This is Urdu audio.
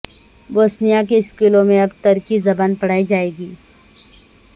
بوسنیا کے اسکولوں میں اب ترکی زبان پڑھائی جائے گی